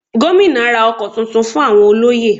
Gómìnà ra ọkọ̀ tuntun fún àwọn olóyè